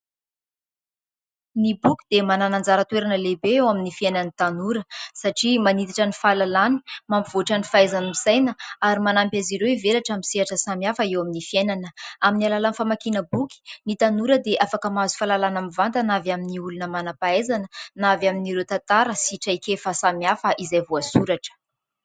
Ny boky dia manana anjara toerana lehibe eo amin'ny fiainan'ny tanora : satria manitatra ny fahalalany, mampivoatra ny fahaizany misaina ary manampy azy ireo hivelatra amin'ny sehatra samihafa eo amin'ny fiainana. Amin'ny alalan'ny famakiana boky, ny tanora dia afaka mahazo fahalalàna mivantana avy amin'ny olona manam-pahaizana na avy amin'ireo tantara sy traikefa samihafa izay voasoratra.